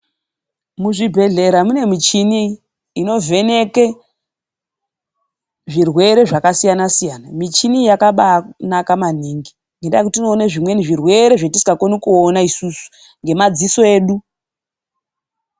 Muzvibhedhlera mune michini inovheneke zvirwere zvakasiyana siyana. Michini iyi yakabaanaka maningi. Ngendaa yekuti unoone zvimweni zvirwere zvatisingakoni kuona isusu ngamadziso edu.